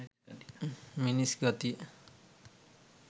"මිනිස් ගතිය".